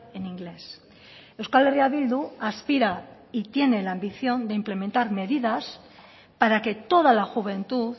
en inglés euskal herria bildu aspira y tiene la ambición de implementar medidas para que toda la juventud